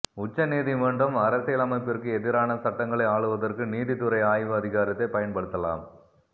உச்ச நீதிமன்றம் அரசியலமைப்பிற்கு எதிரான சட்டங்களை ஆளுவதற்கு நீதித்துறை ஆய்வு அதிகாரத்தை பயன்படுத்தலாம்